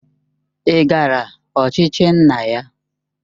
Ị gara ochichi nna ya?